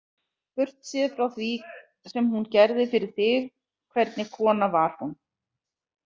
Burtséð frá því sem hún gerði fyrir þig, hvernig kona var hún?